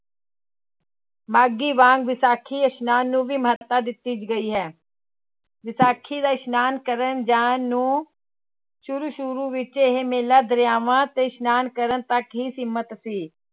ਮਾਘੀ ਵਾਂਗ ਵਿਸਾਖੀ ਇਸ਼ਨਾਨ ਨੂੰ ਵੀ ਮਹੱਤਤਾ ਦਿੱਤੀ ਗਈ ਹੈ, ਵਿਸਾਖੀ ਦਾ ਇਸ਼ਨਾਨ ਕਰਨ ਜਾਣ ਨੂੰ ਸ਼ੁਰੂ ਸ਼ੁਰੂ ਵਿੱਚ ਇਹ ਮੇਲਾ ਦਰਿਆਵਾਂ ਤੇ ਇਸ਼ਨਾਨ ਕਰਨ ਤੱਕ ਹੀ ਸੀਮਿਤ ਸੀ।